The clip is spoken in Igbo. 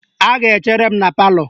Ha ga-echere m na palọ